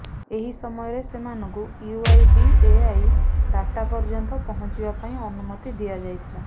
ଏହି ସମୟରେ ସେମାନଙ୍କୁ ୟୁଆଇଡିଏଆଇ ଡାଟା ପର୍ଯ୍ୟନ୍ତ ପହଞ୍ଚିବା ପାଇଁ ଅନୁମତି ଦିଆଯାଇଥିଲା